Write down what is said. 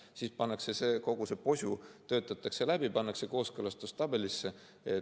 Siis töötatakse kogu see posu läbi ja pannakse kooskõlastustabelisse.